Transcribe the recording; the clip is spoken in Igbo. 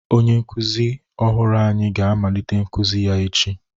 Onye nkuzi ọhụrụ anyị ga-amalitekwa nkuzi ya echi.